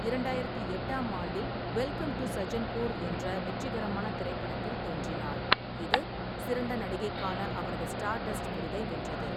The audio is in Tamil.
இரண்டாயிரத்து எட்டாம் ஆண்டில், வெல்கம் டு சஜ்ஜன்பூர் என்ற வெற்றிகரமான திரைப்படத்தில் தோன்றினார், இது சிறந்த நடிகைக்கான அவரது ஸ்டார்டஸ்ட் விருதை வென்றது.